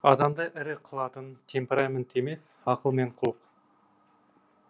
адамды ірі қылатын темперамент емес ақыл мен құлық